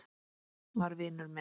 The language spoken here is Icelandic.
var vinur minn.